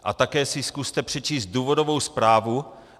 A také si zkuste přečíst důvodovou zprávu.